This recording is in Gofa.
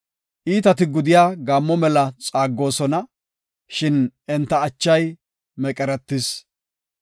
Iitati gudiya gaammo mela xaaggoosona; shin enta achay meqeretis.